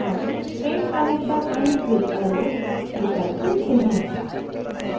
अब straight connector ends with arrow विकल्प चुनते हैं